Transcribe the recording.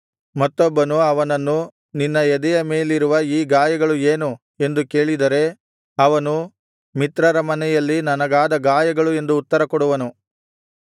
ಮತ್ತೊಬ್ಬನು ಅವನನ್ನು ನಿನ್ನ ಎದೆಯ ಮೇಲಿರುವ ಈ ಗಾಯಗಳು ಏನು ಎಂದು ಕೇಳಿದರೆ ಅವನು ಮಿತ್ರರ ಮನೆಯಲ್ಲಿ ನನಗಾದ ಗಾಯಗಳು ಎಂದು ಉತ್ತರ ಕೊಡುವನು